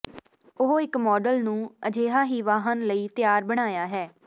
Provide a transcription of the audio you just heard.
ਉਹ ਇੱਕ ਮਾਡਲ ਨੂੰ ਅਜਿਹਾ ਹੀ ਵਾਹਨ ਲਈ ਤਿਆਰ ਬਣਾਇਆ ਹੈ